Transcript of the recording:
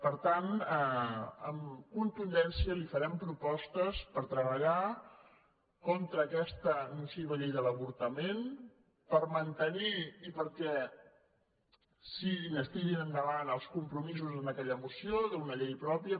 per tant amb contundència li farem propostes per treballar contra aquesta nociva llei de l’avortament per mantenir i perquè es tirin endavant els compromisos en aquella moció d’una llei pròpia